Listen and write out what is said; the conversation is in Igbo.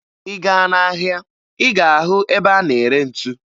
Ị gaa n'ahịa ị ga-ahụ ebe a na-ere ntu